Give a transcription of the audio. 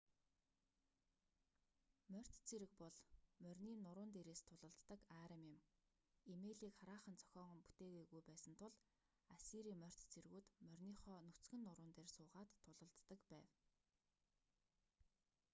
морьт цэрэг бол морины нуруун дээрээс тулалддаг арми юм эмээлийг хараахан зохион бүтээгээгүй байсан тул ассирийн морьт цэргүүд мориныхоо нүцгэн нуруун дээр суугаад тулалддаг байв